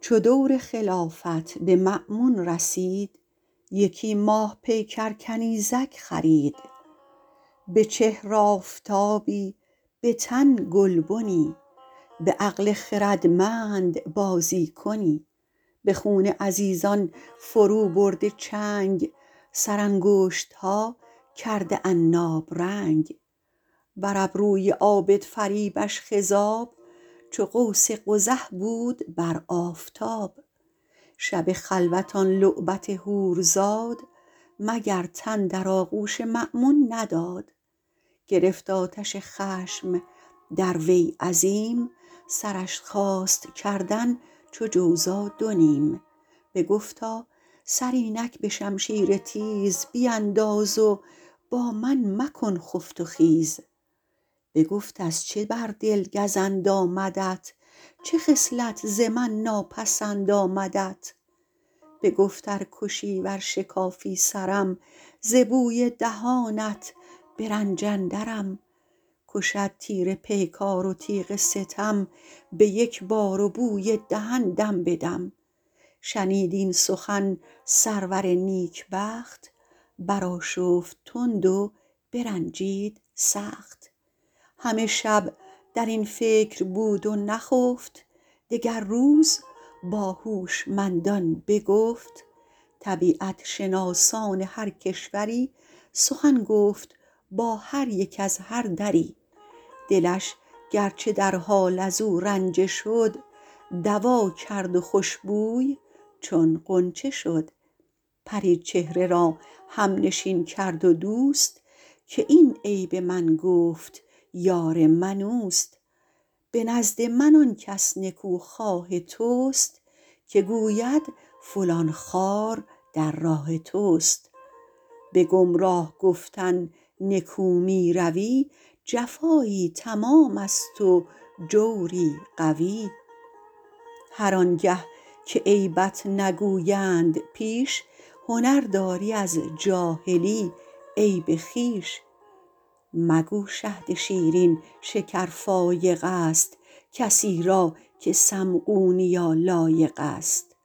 چو دور خلافت به مأمون رسید یکی ماه پیکر کنیزک خرید به چهر آفتابی به تن گلبنی به عقل خردمند بازی کنی به خون عزیزان فرو برده چنگ سر انگشتها کرده عناب رنگ بر ابروی عابد فریبش خضاب چو قوس قزح بود بر آفتاب شب خلوت آن لعبت حور زاد مگر تن در آغوش مأمون نداد گرفت آتش خشم در وی عظیم سرش خواست کردن چو جوزا دو نیم بگفتا سر اینک به شمشیر تیز بینداز و با من مکن خفت و خیز بگفت از چه بر دل گزند آمدت چه خصلت ز من ناپسند آمدت بگفت ار کشی ور شکافی سرم ز بوی دهانت به رنج اندرم کشد تیر پیکار و تیغ ستم به یک بار و بوی دهن دم به دم شنید این سخن سرور نیکبخت برآشفت تند و برنجید سخت همه شب در این فکر بود و نخفت دگر روز با هوشمندان بگفت طبیعت شناسان هر کشوری سخن گفت با هر یک از هر دری دلش گرچه در حال از او رنجه شد دوا کرد و خوشبوی چون غنچه شد پری چهره را همنشین کرد و دوست که این عیب من گفت یار من اوست به نزد من آن کس نکوخواه توست که گوید فلان خار در راه توست به گمراه گفتن نکو می روی جفایی تمام است و جوری قوی هر آن گه که عیبت نگویند پیش هنر دانی از جاهلی عیب خویش مگو شهد شیرین شکر فایق است کسی را که سقمونیا لایق است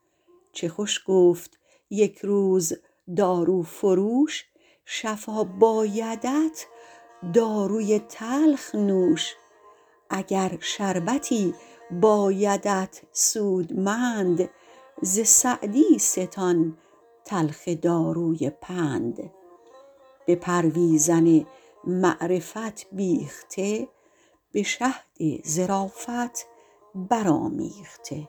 چه خوش گفت یک روز دارو فروش شفا بایدت داروی تلخ نوش اگر شربتی بایدت سودمند ز سعدی ستان تلخ داروی پند به پرویزن معرفت بیخته به شهد ظرافت برآمیخته